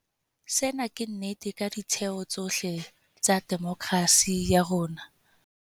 Sena ke nnete ka ditheo tsohle tsa demokerasi ya rona.